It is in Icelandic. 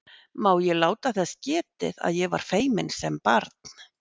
Má ég láta þess getið að ég var feiminn sem barn?